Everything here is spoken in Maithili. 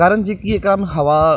कारण जे कि एकरा में हवा --